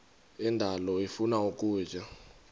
indalo ifuna ukutya